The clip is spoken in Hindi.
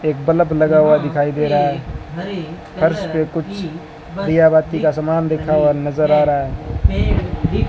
एक बल्ब लगा हुआ दिखाई दे रहा है फर्श पे कुछ दिया बाती का सामान दिखा हुआ नजर आ रहा है।